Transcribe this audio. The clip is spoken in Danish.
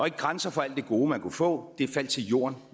ikke grænser for alt det gode man kunne få det faldt til jorden